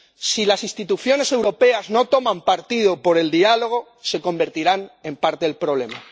Si las instituciones europeas no toman partido por el diálogo, se convertirán en parte del problema.